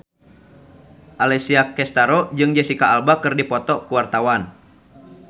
Alessia Cestaro jeung Jesicca Alba keur dipoto ku wartawan